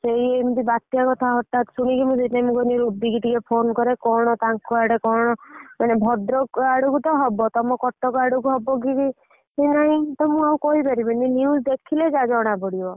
ସେଇ ଏମତି ବାତ୍ୟା କଥା ହଠାତ ଶୁଣିକି ସେଇଥି ପାଇଁ ମୁଁ କହିଲି ରୁବିକି ଟିକେ phone କରେ ତାଙ୍କର କର ଟଙ୍କା ଆଡେ କଣ ମାନେ ଭଦ୍ରକ ଅଦୁ ତ ହବା ତମ କଟକ ଆଡୁକୁ ହବ କି ନହିଁ ମୁଁ ଆଉ କହିପରିବିନି news ଦେଖିଲେ ଯାହା ଜଣା ପଡିବ।